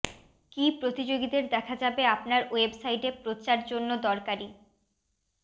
কি প্রতিযোগীদের দেখা যাবে আপনার ওয়েবসাইটে প্রচার জন্য দরকারী